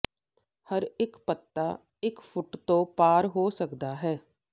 ਹਰ ਇੱਕ ਪੱਤਾ ਇੱਕ ਫੁੱਟ ਤੋਂ ਪਾਰ ਹੋ ਸਕਦਾ ਹੈ